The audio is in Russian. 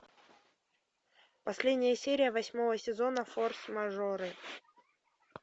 последняя серия восьмого сезона форс мажоры